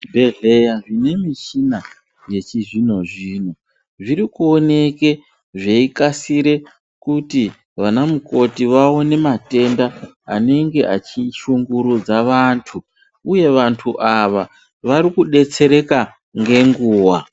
Zvibhedhlera zvine michina yechizvino zvino zviri kuoneka zveikasira kuti vana mukoti vaone matenda anenge achishungudza antu uye antu aya vari kudetsereka ngenguwa.